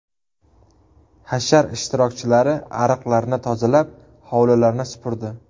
Hashar ishtirokchilari ariqlarni tozalab, hovlilarni supurdi.